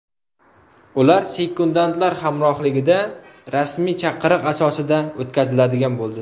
Ular sekundantlar hamrohligida, rasmiy chaqiriq asosida o‘tkaziladigan bo‘ldi.